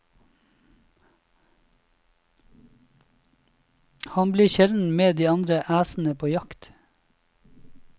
Han blir sjelden med de andre æsene på jakt.